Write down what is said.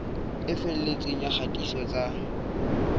e felletseng ya kgatiso tsa